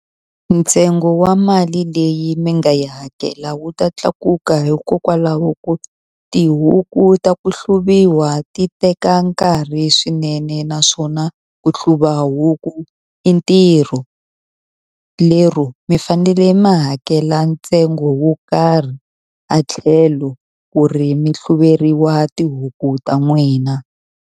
Ntsengo wa mali leyi ni nga yi hakela wu ta tlakuka hikokwalaho ko tihuku ta ku hluvuwa ti teka nkarhi swinene naswona ku hluva huku i ntirho lero mi fanele mi hakela ntsengo wo karhi a tlhelo ku ri mi hluveriwa tihuku ta n'wina.